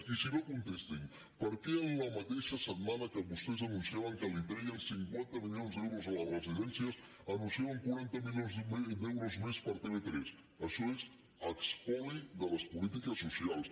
i si no contesti’m per què la mateixa setmana que vostès anunciaven que li treien cinquanta milions d’euros a les residències anunciaven quaranta milions d’euros més per a tv3 això és espoli de les polítiques socials